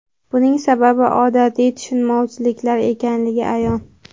Buning sababi odatiy tushunmovchiliklar ekanligi ayon.